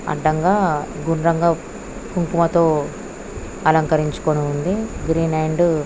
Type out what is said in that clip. అడ్డంగా గుండ్రంగా కుంకుమతో అలంకరించుకొని ఉంది గ్రీన్ అండ్ --